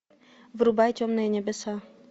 врубай темные небеса